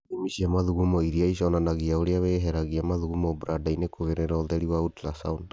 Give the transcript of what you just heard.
Ithimi cia mathugumo iria iconanagia ũrĩa wĩheragia mathugumo brada-inĩ kũgerera ũtheri wa Ultrasound